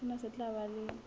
sena se tla ba le